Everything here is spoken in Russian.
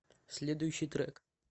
следующий трек